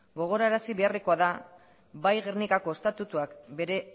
gogorazi beharrekoa da bai gernikako estatutuak bere